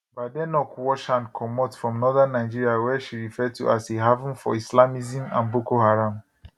badenoch wash hand comot from northern nigeria wey she refer to as a haven for islamism and boko haram